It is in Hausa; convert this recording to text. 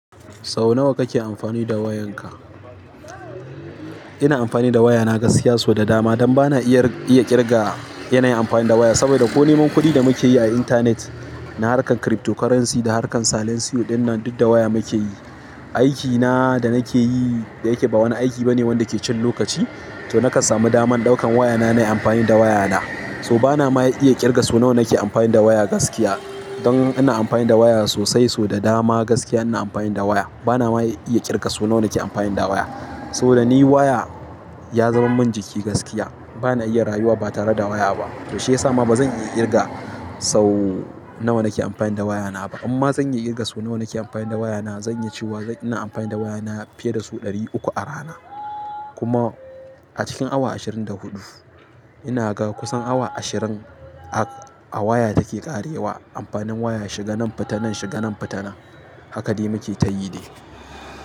Sau nawa kake amfani da wayanka? Ina amfani da wayana gaskiya, sau da dama. Dan ba na iya ƙirga yanayin amfani da waya, saboda ko neman kuɗi da muke yi a intanet, na harkar cryptocurrency da harkar silenceo dinnan duk da waya muke yi. Aikina da nake yi dayake ba wani aiki ba ne wanda ke cin lokaci, to nakan sami daman ɗaukan wayana na yi amfani da wayana. So ba na ma iya ƙirga sou nawa nake amfani da waya gaskiya. Don ina amfani da waya sosai, so da dama gaskiya ina amfani da waya. Ba na ma iya ƙirga sou nawa nake amfani da waya. Saboda ni waya ya zama min jiki gaskiya. Ba na iya rayuwa ba tare da waya ba. To shiyasa ma bazan iya ƙirga sau nawa nake amfani da wayana ba. Amma zan iya ƙirga sau nawa nake amfani da wayana. Zan iya cewa ina amfani da wayana fiye da sau ɗari uku a rana. Kuma a cikin awa ashirin da huɗu ina ga kusan awa ashirin a waya take ƙarewa. Amfanin waya shiga nan fita nan shiga nan fita nan. Haka dai muke ta yi de.